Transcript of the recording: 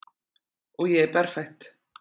Og ég er berfætt.